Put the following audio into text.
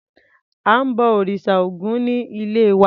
À ń bọ òrìṣà Ògún ní ilé wa.